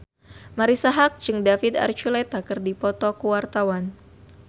Marisa Haque jeung David Archuletta keur dipoto ku wartawan